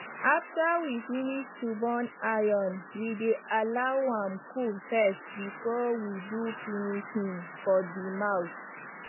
after we finish to burn iron we dey allow am cold first before we do finishing for de mouth